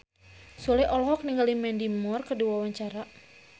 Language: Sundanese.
Sule olohok ningali Mandy Moore keur diwawancara